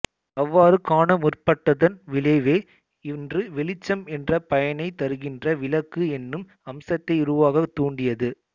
அவ்வாறு காணமுற்பட்டதன் விளைவே இன்று வெளிச்சம் என்ற பயனைத் தருகின்ற விளக்கு எனும் அம்சத்தை உருவாக்கத் தூண்டியது